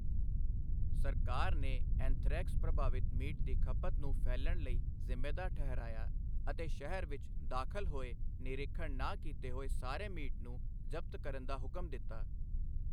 ਸਰਕਾਰ ਨੇ ਐਂਥ੍ਰੈਕਸ ਪ੍ਰਭਾਵਿਤ ਮੀਟ ਦੀ ਖਪਤ ਨੂੰ ਫੈਲਣ ਲਈ ਜ਼ਿੰਮੇਵਾਰ ਠਹਿਰਾਇਆ ਅਤੇ ਸ਼ਹਿਰ ਵਿੱਚ ਦਾਖਲ ਹੋਏ ਨਿਰੀਖਣ ਨਾ ਕੀਤੇ ਹੋਏ ਸਾਰੇ ਮੀਟ ਨੂੰ ਜ਼ਬਤ ਕਰਨ ਦਾ ਹੁਕਮ ਦਿੱਤਾ।